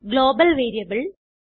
global variable